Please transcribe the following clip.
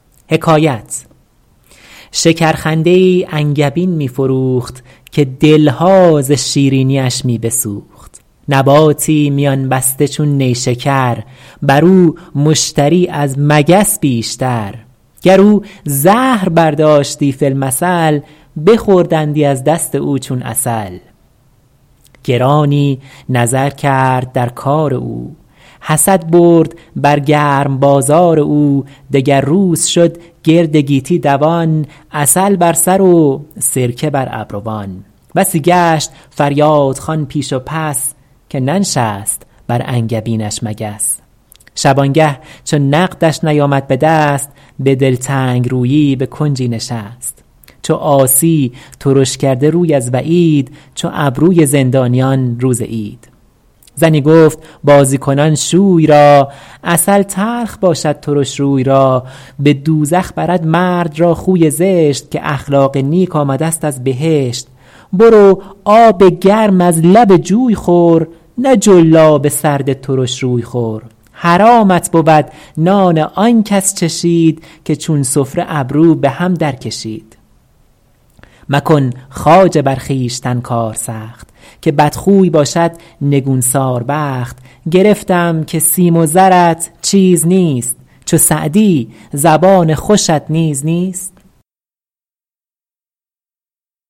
شکر خنده ای انگبین می فروخت که دلها ز شیرینیش می بسوخت نباتی میان بسته چون نیشکر بر او مشتری از مگس بیشتر گر او زهر برداشتی فی المثل بخوردندی از دست او چون عسل گرانی نظر کرد در کار او حسد برد بر گرم بازار او دگر روز شد گرد گیتی دوان عسل بر سر و سرکه بر ابروان بسی گشت فریادخوان پیش و پس که ننشست بر انگبینش مگس شبانگه چو نقدش نیامد به دست به دلتنگ رویی به کنجی نشست چو عاصی ترش کرده روی از وعید چو ابروی زندانیان روز عید زنی گفت بازی کنان شوی را عسل تلخ باشد ترش روی را به دوزخ برد مرد را خوی زشت که اخلاق نیک آمده ست از بهشت برو آب گرم از لب جوی خور نه جلاب سرد ترش روی خور حرامت بود نان آن کس چشید که چون سفره ابرو به هم در کشید مکن خواجه بر خویشتن کار سخت که بدخوی باشد نگون سار بخت گرفتم که سیم و زرت چیز نیست چو سعدی زبان خوشت نیز نیست